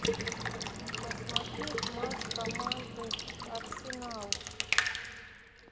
посмотреть матч команды арсенал